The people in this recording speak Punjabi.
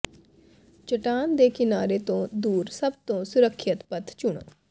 ਚਟਾਨ ਦੇ ਕਿਨਾਰੇ ਤੋਂ ਦੂਰ ਸਭ ਤੋਂ ਸੁਰੱਖਿਅਤ ਪਥ ਚੁਣੋ